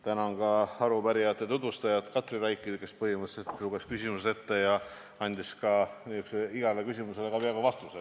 Tänan ka arupärimise tutvustajat Katri Raiki, kes põhimõtteliselt luges küsimused ette ja andis igale küsimusele ka peaaegu vastuse.